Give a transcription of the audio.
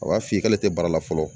A b'a f'i ye k'ale tɛ baara la fɔlɔ